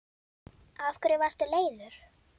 Af hverju varstu leiður?